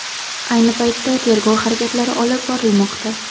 Ayni paytda tergov harakatlari olib borilmoqda.